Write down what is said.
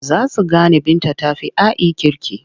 Za su gane Binta ta fi A'i kirki.